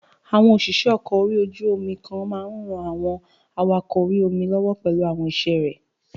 Àwọn òṣìṣẹ́ ọkọ̀ orí-omi kokan maa n ran àwọn awakọ̀ orí-omi lọ́wọ́ pẹ̀lú àwọn iṣẹ́ rẹ̀